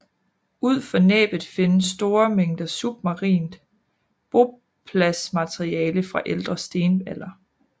Ud for Næbbet findes store mængder submarint bopladsmateriale fra Ældre stenalder